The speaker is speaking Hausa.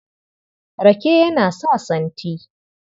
Rake yana sa santi.